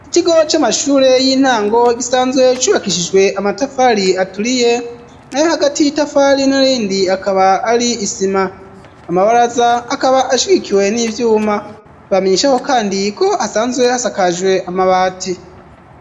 Ikigo c'amashure y'intango gisanzwe cubakishijwe amatafari aturiye na yo hagati y'itafari n'irindi akaba ari isima amabaraza akaba ashwikiwe n'ivyuma tbamenyeshaho kandi ko hasanzwe hasakajwe amabati.